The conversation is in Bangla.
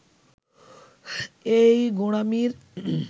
এই গোঁড়ামির